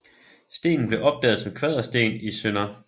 Stenen blev opdaget som Kvadersten i Sdr